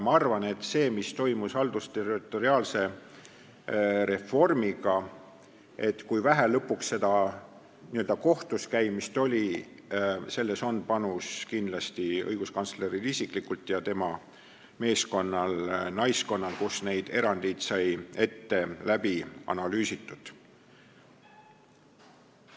Ma arvan, et selles, mis toimus haldusterritoriaalse reformiga, selles, kui vähe lõpuks kohtuskäimist oli, on oma panus kindlasti õiguskantsleril isiklikult ja tema meeskonnal-naiskonnal, kes neid erandeid ette läbi analüüsis.